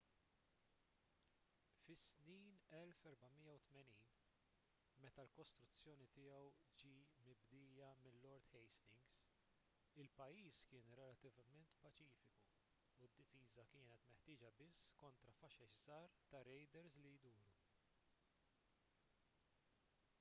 fis-snin 1480 meta l-kostruzzjoni tiegħu ġie mibdija minn lord hastings il-pajjiż kien relattivament paċifiku u d-difiża kienet meħtieġa biss kontra faxex żgħar ta' rejders li jduru